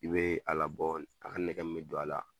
I bɛ a labɔ a ka nɛgɛ min bɛ don a la